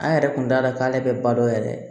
An yɛrɛ kun t'a dɔn k'ale bɛ ba dɔ yɛrɛ